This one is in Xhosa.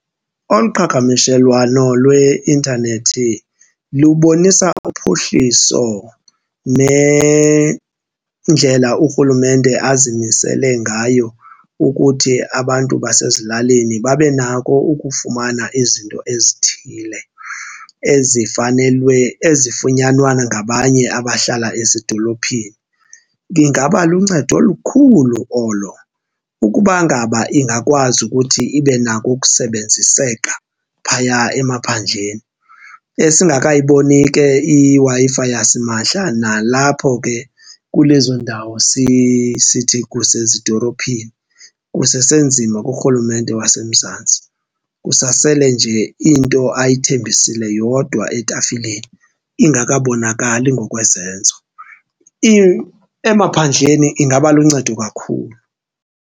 Olu qhagamshelwano lweintanethi lubonisa uphuhliso nendlela urhulumente azimisele ngayo ukuthi abantu basezilalini babe nako ukufumana izinto ezithile ezifanelwe, ezifunyanwa ngabanye abahlala ezidolophini, ingaba luncedo olukhulu olo ukuba ngaba ingakwazi ukuthi ibe nako ukusebenziseka phaya emaphandleni,. Esingakayibonisi ke iWi-Fi yasimahla nalapho ke kulezo ndawo sithi kusezidolophini, kusesenzima kurhulumente waseMzantsi. Kusasele nje into ayithembisile yodwa etafileni ingakabonakali ngokwezenzo. Emaphandleni ingaba luncedo kakhulu.